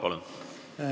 Palun!